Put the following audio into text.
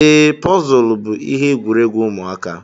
Ee, Pọzul bú ihe egwuregwu ụmụaka.